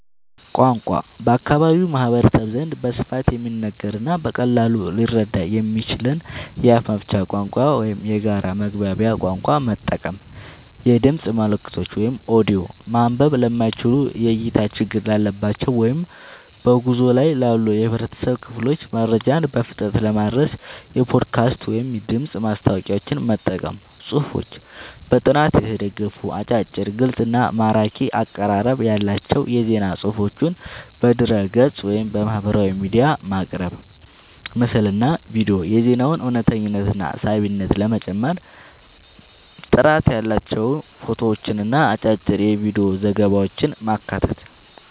ቋንቋ፦ በአካባቢው ማህበረሰብ ዘንድ በስፋት የሚነገርንና በቀላሉ ሊረዳ የሚችልን የአፍ መፍቻ ቋንቋ ወይም የጋራ መግባቢያ ቋንቋ መጠቀም። የድምፅ መልእክቶች (ኦዲዮ)፦ ማንበብ ለማይችሉ፣ የእይታ ችግር ላለባቸው ወይም በጉዞ ላይ ላሉ የህብረተሰብ ክፍሎች መረጃን በፍጥነት ለማድረስ የፖድካስት ወይም የድምፅ ማስታወቂያዎችን መጠቀም። ጽሁፎች፦ በጥናት የተደገፉ፣ አጫጭር፣ ግልጽ እና ማራኪ አቀራረብ ያላቸው የዜና ፅሁፎችን በድረ-ገጽ፣ ወይም በማህበራዊ ሚዲያ ማቅረብ። ምስልና ቪዲዮ፦ የዜናውን እውነተኝነትና ሳቢነት ለመጨመር ጥራት ያላቸው ፎቶዎችንና አጫጭር የቪዲዮ ዘገባዎችን ማካተት።